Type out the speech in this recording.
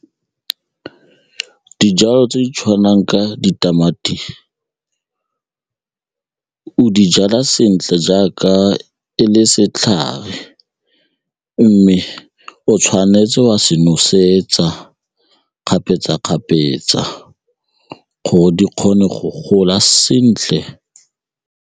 Ke dijalo tse di tshwanang ka ditamati, o di jala sentle jaaka e le setlhare mme o tshwanetse wa se nosetsa kgapetsa-kgapetsa gore di kgone go gola sentle.